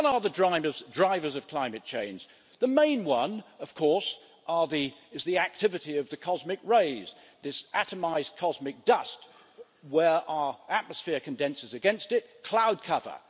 What are the drivers of climate change? The main one, of course, is the activity of the cosmic rays, this atomised cosmic dust and, where our atmosphere condenses against it, cloud cover.